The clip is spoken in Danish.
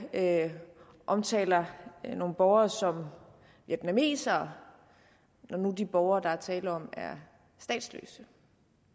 omtaler nogle borgere som vietnamesere når nu de borgere der er tale om er statsløse